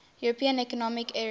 european economic area